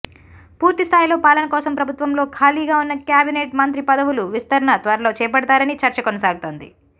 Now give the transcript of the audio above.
పూర్తి స్థాయిలో పాలన కోసం ప్రభుత్వంలో ఖాళీగా ఉన్న కేబినెట్ మంత్రి పదవులు విస్తరణ త్వరలో చేపడతారని చర్చ కొనసాగుతోంది